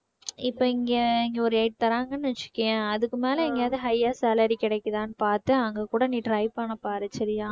இப்ப இங்க இங்க ஒரு eight தர்றாங்கன்னு வெச்சுக்கோயேன் அதுக்கு மேல எங்கயாவது high யா salary கிடைக்குதானு பார்த்து அங்க கூட நீ try பண்ண பாரு சரியா